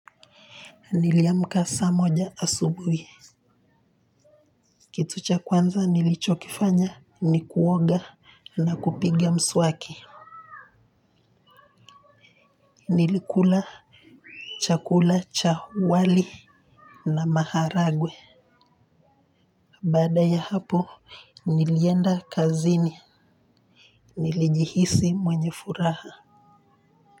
Niliamka saa moja asubuhi kitu cha kwanza nilichokifanya ni kuoga na kupiga mswaki. Nilikula chakula cha wali na maharagwe baada ya hapo nilienda kazini. Nilijihisi mwenye furaha.